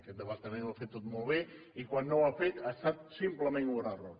aquest departament ho ha fet tot molt bé i quan no ho ha fet ha estat simplement un error